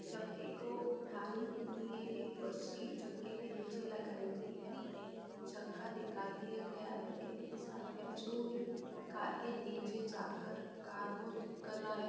चक्के को उठाने के लिए एक मशीन चक्के के नीचे लगाई गई है एक चक्का निकाल दिया गया है एक इंसान है जो कार के नीचे जा के कार को ठीक कर रहा है।